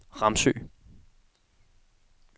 Ramsø